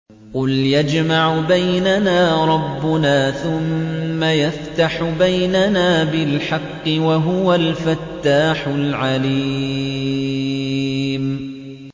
قُلْ يَجْمَعُ بَيْنَنَا رَبُّنَا ثُمَّ يَفْتَحُ بَيْنَنَا بِالْحَقِّ وَهُوَ الْفَتَّاحُ الْعَلِيمُ